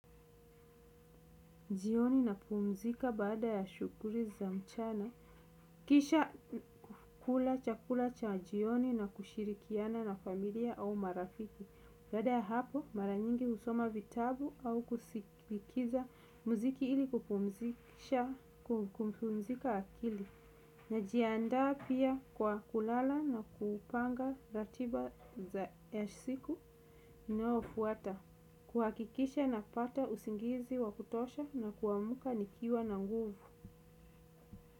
Jioni napumzika baada ya shughuli za mchana kisha kula chakula cha jioni na kushirikiana na familia au marafiki baada ya hapo mara nyingi husoma vitabu au kusikiza mziki ili kupumzika akili. Najiandaa pia kwa kulala na kupanga ratiba za siku inayofuata kuhakikisha napata usingizi wa kutosha na kuamka nikiwa na nguvu.